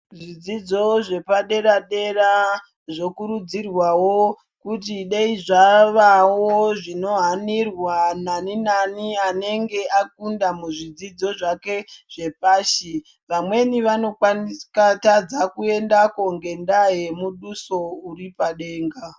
Zvidzidzo zvepadera dera zvokurudzirwawo kuti dai zveihanirwawo nani nani anenge akundawo muzvidzidzo zvake zvepashi vamweni vanotadza kuendako ngendaa yemuduso uri padenga.